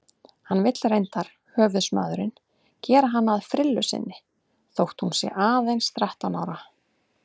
Hann vill reyndar, höfuðsmaðurinn, gera hana að frillu sinni þótt hún sé aðeins þrettán ára.